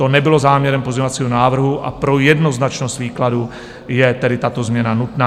To nebylo záměrem pozměňovacího návrhu a pro jednoznačnost výkladu je tedy tato změna nutná.